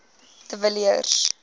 de villiers